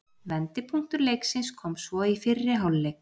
Vendipunktur leiksins kom svo í fyrri hálfleik.